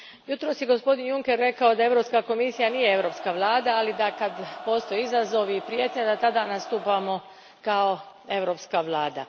Jutros je gospodin Juncker rekao da Europska komisija nije europska vlada, ali da, kad postoje izazovi i prijetnje, tada nastupamo kao europska vlada.